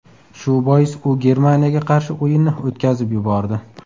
Shu bois u Germaniyaga qarshi o‘yinni o‘tkazib yubordi.